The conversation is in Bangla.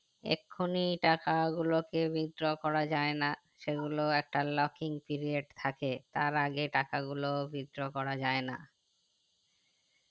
এক খুনি টাকা গুলোকে withdrawal করা যাই না সেগুলোএকটা locking period থাকে তার আগে টাকা গুলো withdrawal করা যাই না